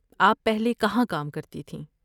آپ پہلے کہاں کام کرتی تھیں؟